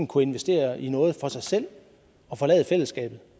kunne investere i noget for sig selv og forlade fællesskabet